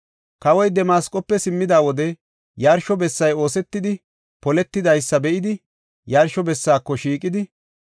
Kawoy Damasqofe simmida wode, yarsho bessay oosetidi poletidaysa be7idi, yarsho bessaako shiiqidi,